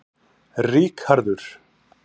Ríkharður